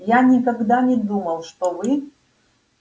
я никогда не думал что вы